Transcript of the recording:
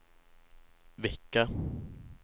vecka